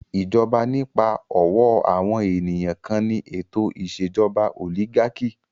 Ìjọba nípa ọ̀wọ́ àwọn ènìyàn kan ni ètò ìṣèjọba òlígákì.